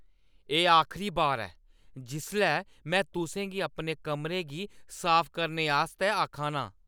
एह् आखरी बारी ऐ जिसलै में तुसें गी अपने कमरे गी साफ करने आस्तै आख ना आं।